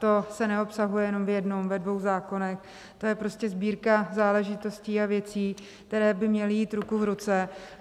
To se neobsáhne jenom v jednom, ve dvou zákonech, to je prostě sbírka záležitostí a věcí, které by měly jít ruku v ruce.